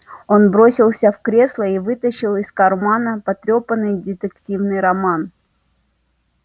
он бросился в кресло и вытащил из кармана потрёпанный детективный роман